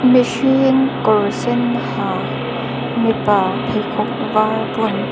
mihring kawr sen ha mipa pheikhawk var bun.